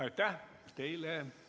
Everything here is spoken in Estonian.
Aitäh teile!